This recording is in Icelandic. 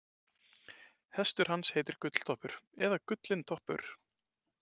Hestur hans heitir Gulltoppur eða Gullintoppur.